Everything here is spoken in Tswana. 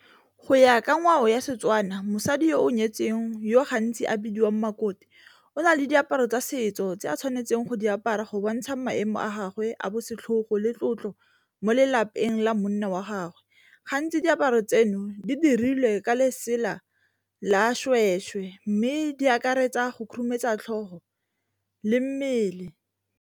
Go ya ka ngwao ya Setswana mosadi yo o nyetseng yo gantsi a bidiwang makoti o na le diaparo tsa setso tse a tshwanetseng go di apara go bontsha maemo a gagwe a bo setlhogo le tlotlo mo lelapeng la monna wa gagwe, gantsi diaparo tseno di dirilwe ka lesela la mme di akaretsa go khurumetsa tlhogo le mmele.